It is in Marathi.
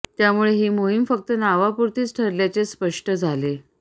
त्यामुळे ही मोहीम फक्त नावापुरतीच ठरल्याचे स्पष्ट झाले